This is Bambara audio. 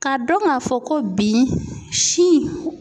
Ka dɔn ka fɔ ko bi sin